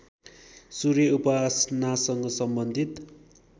सूर्य उपासनासँग सम्बन्धित